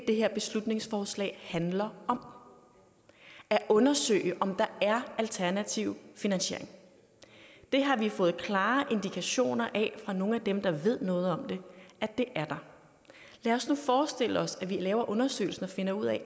det her beslutningsforslag handler om at undersøge om der er alternativ finansiering det har vi fået klare indikationer af fra nogle af dem der ved noget om det at det er der lad os nu forestille os at vi laver undersøgelsen og finder ud af